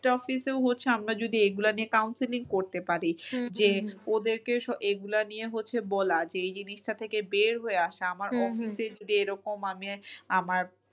টফিস এও হচ্ছে আমরা যদি এগুলো নিয়ে counselling করতে পারি হম হম যে ওদেরকে এগুলা নিয়ে হচ্ছে বলা যে এই জিনিসটা থেকে বের হয়ে আশা আমার office এ যদি এরকম আমি আমার